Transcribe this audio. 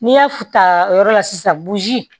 N'i y'a ta o yɔrɔ la sisan